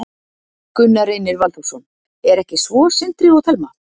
Gunnar Reynir Valþórsson: Er ekki svo, Sindri og Telma?